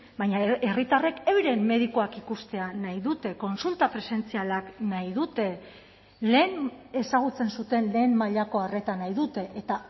baina herritarrek euren medikuak ikustea nahi dute kontsulta presentzialak nahi dute lehen ezagutzen zuten lehen mailako arreta nahi dute eta